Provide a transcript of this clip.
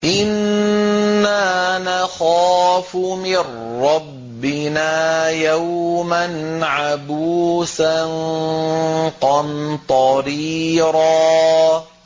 إِنَّا نَخَافُ مِن رَّبِّنَا يَوْمًا عَبُوسًا قَمْطَرِيرًا